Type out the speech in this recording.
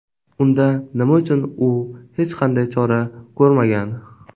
Unda nima uchun u hech qanday chora ko‘rmagan?